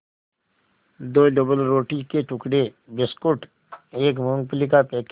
दो डबलरोटी के टुकड़े बिस्कुट एक मूँगफली का पैकेट